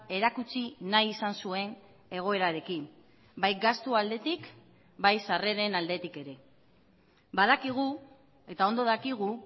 erakutsi nahi izan zuen egoerarekin bai gastu aldetik bai sarreren aldetik ere badakigu eta ondo dakigu